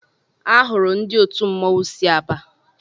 Ahụrụ ndị òtù mmọnwụ sị Aba.